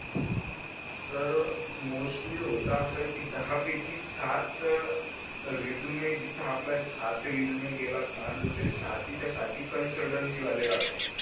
तर मोस्टली होत अस दहा पैकी सात रिजूम जिथ आपला सात ही रिजूम गेला तना तर ते साथीच्या साथी कन्सल्टन्सी वाले राहतील